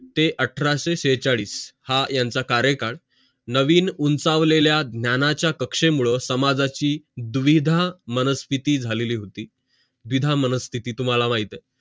ते अठराशे छेचाडीस हा यांचा कार्य काळ नवीन उंचावलेल्या ज्ञानाचा कक्षेवर समाजाची दुविधा मनस्तिथी झालेली होती विधान मनस्तिथी तुम्हाला माहित आहे